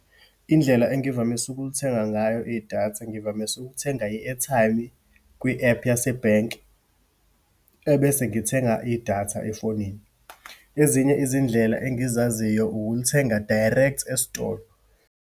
Indlela engivamise ukulithenga ngayo idatha, ngivamise ukuthenga i-airtime kwi-ephu yasebhenki, ebese ngithenga idatha efonini. Ezinye izindlela engizaziyo, ukulithenga direct esitolo.